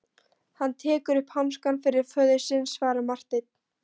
Hann tekur upp hanskann fyrir föður sinn, svaraði Marteinn.